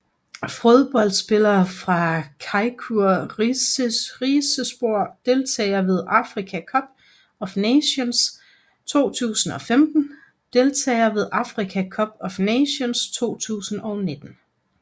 Fodboldspillere fra Çaykur Rizespor Deltagere ved Africa Cup of Nations 2015 Deltagere ved Africa Cup of Nations 2019